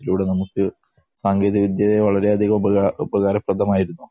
ഇതിലൂടെ നമുക്ക് സാങ്കേതിക വിദ്യ വളരെയധികം ഉപകാ ഉപകാരപ്രദമായിരുന്നു.